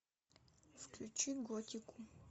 включи готику